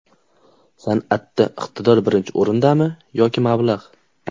San’atda iqtidor birinchi o‘rindami yoki mablag‘?